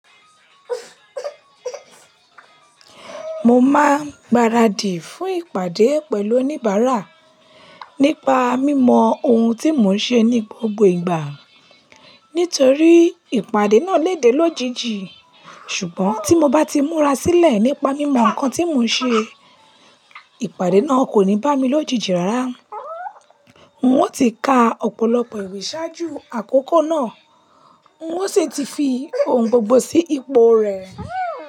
Mo máa ń gbaradì fún ìpàdé pẹ̀lú oníbàárà nípa mímọ ohun tí mò ń ṣe ní gbogbo ìgbà. Nítorí ìpàdé náà lè dé lójijì. Ṣùgbọ́n tí mo bá ti múra sílẹ̀ nípa mímọ nǹkan tí mò ń ṣe, ìpàdé náà kò ní bá mi lójijì rárá. Hun ó ti ka ọ̀pọ̀lọpọ̀ ìwé ṣáájú àkókò náà, n ó sì ti fi ohun gbogbo sí ipò rẹ̀